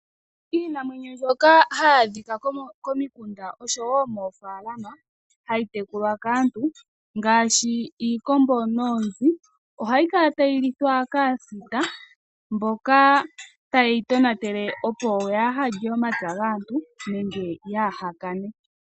Iinamwenyo mbyoka hayi adhika komikunda oshowo moofalama hayitekulwa kaanhu ngaashi iikombo noonzi , ohayi kala tayi lithwa kaasita mboka tayeyi tonatele yaahalye omapya gaantu nenge yaahakane